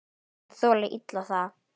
Menn þola illa það.